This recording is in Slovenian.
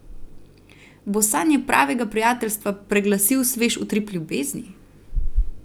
Bo sanje pravega prijateljstva preglasil svež utrip ljubezni?